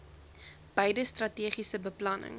beide strategiese beplanning